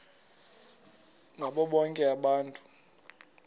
ngabo bonke abantu